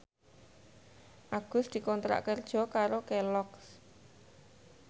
Agus dikontrak kerja karo Kelloggs